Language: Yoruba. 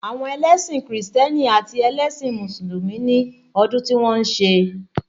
Àwọn ẹlẹ́sìn Krìstẹ́nì àti ẹlẹ́sìn Mùsùlùmí ní ọdún tí wọ́n ń ṣe